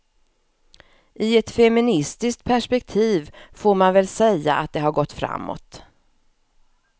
I ett feministiskt perspektiv får man väl säga att det har gått framåt.